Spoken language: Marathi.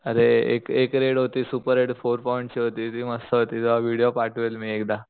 अरे एक एक रेड होती सुपर रेड फोर पॉईंट ची होती ती मस्त होती तुला व्हिडीओ पाठवेल मी एकदा